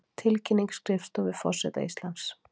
Tilkynning skrifstofu forseta Íslands